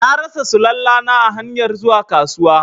Na rasa Sulalla na a hanyar zuwa kasuwa.